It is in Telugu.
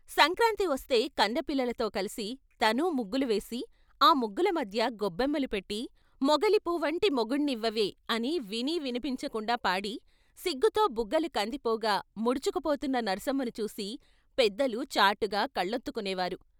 సంక్రాంతి వస్తే కన్నెపిల్లలతో కలిసి తనూ ముగ్గులు వేసి ఆ ముగ్గుల మధ్య గొబ్బెమ్మలు పెట్టి " మొగలి పూవువంటి మొగుణ్ణివ్వవే " అని వినీ విన్పించ కుండా పాడి , సిగ్గుతో బుగ్గలు కందిపోగా ముడుచుకుపోతున్న నర్సమ్మను చూసి పెద్దలు చాటుగా కళ్లొత్తుకునేవారు.